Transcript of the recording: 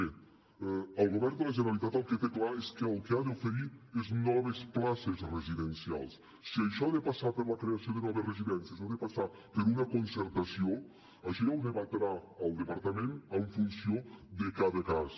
bé el govern de la generalitat el que té clar és que el que ha d’oferir és noves places residencials si això ha de passar per la creació de noves residències o ha de passar per una concertació això ja ho debatrà el departament en funció de cada cas